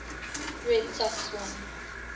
red sox won